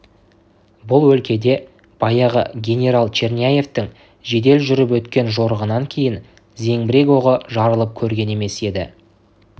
бұл өлкеде баяғы генерал черняевтің жедел жүріп өткен жорығынан кейін зеңбірек оғы жарылып көрген емес еді